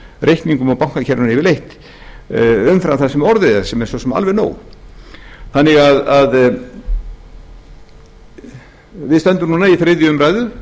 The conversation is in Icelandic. reikningum og bankakerfinu yfirleitt umfram það sem orðið er svo er svo sem alveg nóg þannig að við stöndum í þriðju umræðu